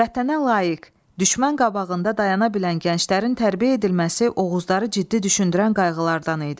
Vətənə layiq, düşmən qabağında dayana bilən gənclərin tərbiyə edilməsi Oğuzları ciddi düşündürən qayğılardan idi.